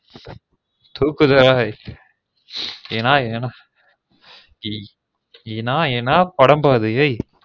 தூக்கு தாய் அது என்னா என்னா படம் பா அது ஏய்